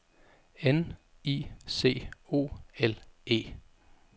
N I C O L E